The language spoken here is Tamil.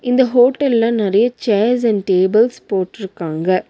இந்த ஹோட்டல்ல நெறைய சேர்ஸ் அண்ட் டேபிள்ஸ் போட்டுருக்காங்க.